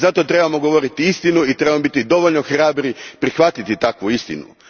Zato trebamo govoriti istinu i trebamo biti dovoljno hrabri prihvatiti takvu istinu.